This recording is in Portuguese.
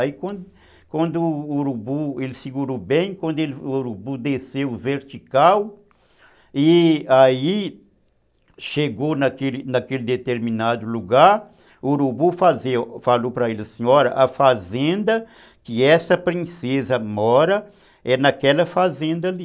Aí quando quando o urubu, ele segurou bem, quando o urubu desceu vertical e aí chegou naquele naquele determinado lugar, o urubu falou para ele, assim, a fazenda que essa princesa mora é naquela fazenda ali.